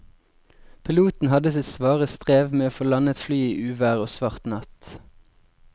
Piloten hadde sitt svare strev med å få landet flyet i uvær og svart natt.